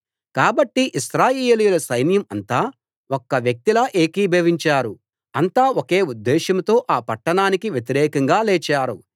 కాబట్టి ఇశ్రాయేలీయుల సైన్యం అంతా ఒక్క వ్యక్తిలా ఏకీభవించారు అంతా ఒకే ఉద్దేశ్యంతో ఆ పట్టాణానికి వ్యతిరేకంగా లేచారు